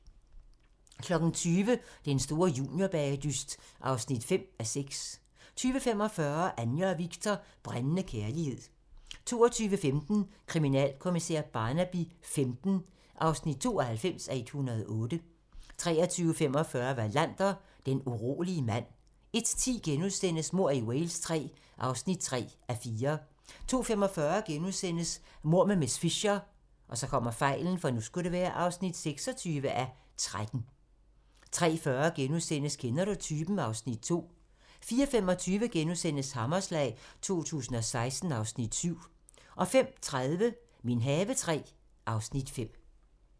20:00: Den store juniorbagedyst (5:6) 20:45: Anja og Viktor - brændende kærlighed 22:15: Kriminalkommissær Barnaby XV (92:108) 23:45: Wallander: Den urolige mand 01:10: Mord i Wales III (3:4)* 02:45: Mord med miss Fisher (26:13)* 03:40: Kender du typen? (Afs. 2)* 04:25: Hammerslag 2016 (Afs. 7)* 05:30: Min have III (Afs. 5)